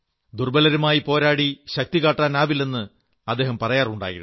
ദുർബ്ബലരുമായി പോരാടി ശക്തികാട്ടാനാവില്ലെന്ന് അദ്ദേഹം പറയാറുണ്ടായിരുന്നു